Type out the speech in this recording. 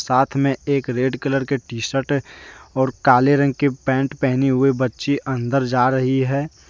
हाथ में एक रेड कलर के टी शर्ट है और काले रंग के पेंट पहने हुए बच्ची अंदर जा रही है।